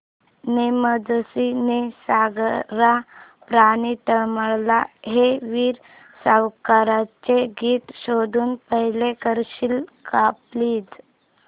ने मजसी ने सागरा प्राण तळमळला हे वीर सावरकरांचे गीत शोधून प्ले करशील का प्लीज